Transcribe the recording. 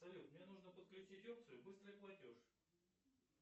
салют мне нужно подключить опцию быстрый платеж